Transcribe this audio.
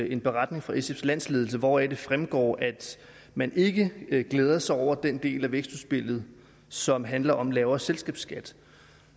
en beretning fra sfs landsledelse hvoraf det fremgår at man ikke ikke glæder sig over den del af vækstudspillet som handler om lavere selskabsskat